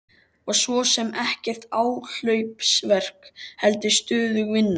Og svo sem ekkert áhlaupsverk heldur stöðug vinna.